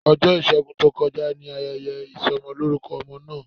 Ọjọ́ ìṣẹ́gun tó kọjá ni ayẹyẹ ìsọmọlórúkọ ọmọ náà